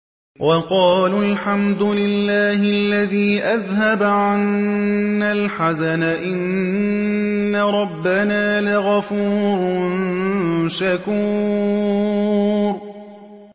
وَقَالُوا الْحَمْدُ لِلَّهِ الَّذِي أَذْهَبَ عَنَّا الْحَزَنَ ۖ إِنَّ رَبَّنَا لَغَفُورٌ شَكُورٌ